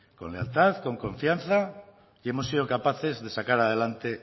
con lealtad con confianza y hemos sido capaces de sacar adelante